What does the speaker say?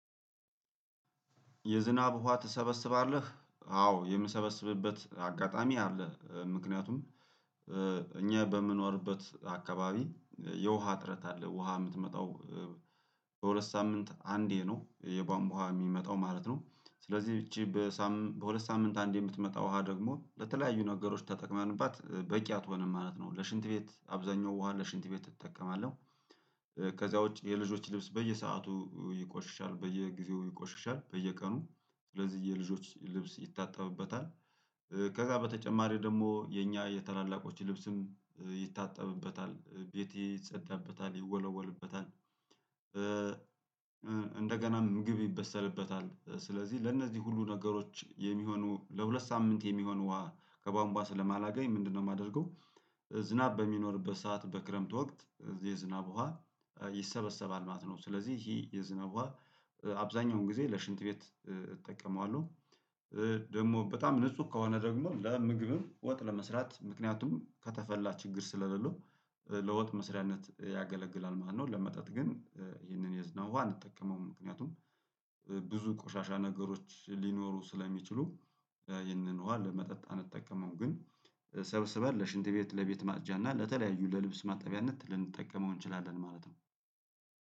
የዝናብ ውሃ ትሰበስባለህ አዎ የምሰበስብበት አጋጣሚ አለ። ምክንያቱም እኛ በምኖርበት አካባቢ የውሃ ጥረት አለ ውሃ የምትመጣው በሁለት ሳምንት አንዴ ነው የቧንቧሃ የሚመጣው ማለት ነው። ስለዚህ ይቺ በሁለት ሳምንት አንድ የምትመጣው ውሃ ደግሞ ለተለያዩ ነገሮች ተጠቅመንባት በቂ አትሆንም ማለት ነው። ለሽንት ቤት አብዛኛው ውሃ ለሽንት ቤት እጠቀማለሁ ከዛ ውጪ የልጆች ልብስ በየሰአቱ ይቆሽሻል በየጊዜው ይቆሽሻል በየቀኑ ስለዚህ የልጆች ልብስ ይታጠብበታል። ከዛ በተጨማሪ ደግሞ የኛ የታላላቆች ልብስም ይታጠብበታል ቤቴ ይጸዳበታል ይወለወልበታል። እንደገናም ምግብ ይበሰልበታል ስለዚህ ለእነዚህ ሁሉ ነገሮች የሚሆኑ ለሁለት ሳምንት የሚሆን ውሃ ከቧንቧ ስለማላገኝ ምንድነው የማደርገው? ዝናብ በሚኖርበት ሰዓት በክረምት ወቅት የዝናብ ውሃ ይሰበሰባል ማለት ነው። ስለዚህ ይሄ የዝናብ ዉሃ አብዛኛውን ጊዜ ለሽንት ቤት እጠቀመዋለሁ። ደግሞ በጣም ንጹህ ከሆነ ደግሞ ለምግብም ወጥ ለመስራት ምክንያቱም ከተፈላ ችግር ስለሌለው ለወጥ መስሪያነት ያገለግላል ማለት። ነኹለመጠጥ ግን ይህንን የዝናብ ውሃ አንጠቀመውም። ምክንያቱም ብዙ ቆሻሻ ነገሮች ሊኖሩ ስለሚችሉ ይህንን ውሃ ለመጠጥ አንጠቀምም። ግን ሰብስበር ለሽንት ቤት ለቤት ማጽጃ እና ለተለያዩ ለልብስ ማጣቢያነት ልንጠቀመው እንችላለን ማለት ነው።